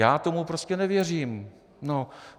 Já tomu prostě nevěřím.